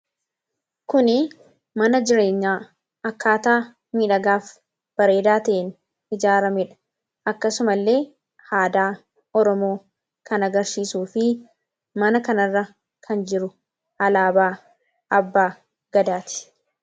Kuni mana jireenyaa akkaataa bareedaaf miidhagaa ta'een ijaaramedha. Akkasuma illee aadaa Oromoo kan agarsiisuu fi mana kanarra kan jiru alaabaa abbaa gadaati.